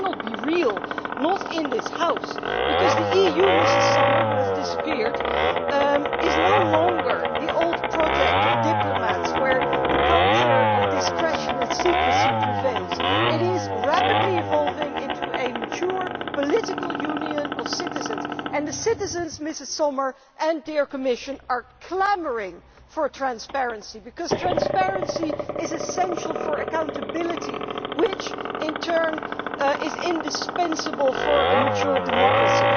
It cannot be real, not in this House, because the EU, Ms Sommer who has disappeared is no longer the old project of diplomats where the culture of this question of secrecy prevails. It is rapidly evolving into a mature political union of citizens, and the citizens, Ms Sommer and dear Commissioner, are clamouring for transparency, because transparency is essential for accountability, which in turn is indispensable for a mature democracy.